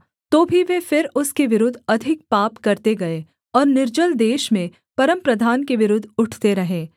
तो भी वे फिर उसके विरुद्ध अधिक पाप करते गए और निर्जल देश में परमप्रधान के विरुद्ध उठते रहे